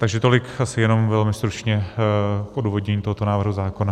Takže tolik asi jenom velmi stručně pro odůvodnění tohoto návrhu zákona.